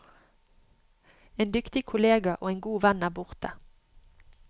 En dyktig kollega og en god venn er borte.